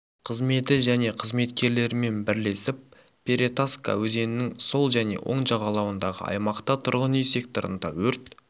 қызметі және қызметкерлерімен бірлесіп перетаска өзегінің сол және оң жағалауындағы аймақта тұрғын үй секторында өрт